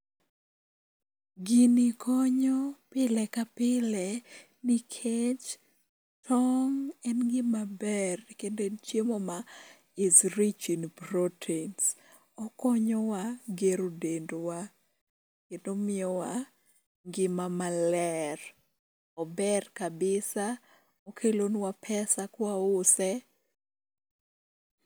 Gini konyo pile ka pile nikech tong' en gimaber kendo en chiemo ma is rich in proteins. Okonyowa gero dendwa kendo miyowa ngima maler. Ober [cs[kabisa okelonwa pesa ka wause.